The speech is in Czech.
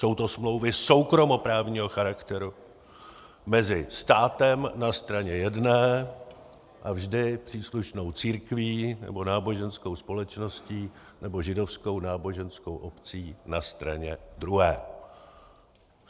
Jsou to smlouvy soukromoprávního charakteru mezi státem na straně jedné a vždy příslušnou církví nebo náboženskou společností nebo Židovskou náboženskou obcí na straně druhé.